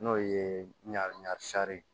N'o ye ɲarisa ye